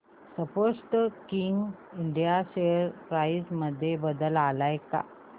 Sportking India share price मध्ये बदल आलाय का